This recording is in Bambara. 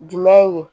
Jumɛn ye